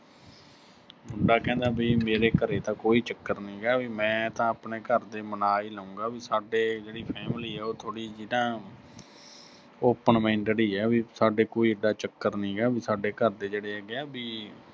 ਮੁੰਡਾ ਕਹਿੰਦਾ ਵੀ ਮੇਰੇ ਘਰੇ ਤਾਂ ਕੋਈ ਚੱਕਰ ਨੀਂ ਗਾ, ਵੀ ਮੈਂ ਤਾਂ ਆਪਣੇ ਘਰ ਦੇ ਮਨਾ ਹੀ ਲਊਂਗਾ, ਵੀ ਸਾਡੇ ਜਿਹੜੀ family ਆ ਉਹ ਥੋੜ੍ਹੀ ਜੀ ਨਾ ਅਹ open-minded ਹੀ ਆ, ਵੀ ਸਾਡੇ ਕੋਈ ਐਡਾ ਚੱਕਰ ਨੀਂ ਗਾ, ਵੀ ਸਾਡੇ ਘਰ ਦੇ ਜਿਹੜੇ ਹੈਗਾ ਆ ਵੀ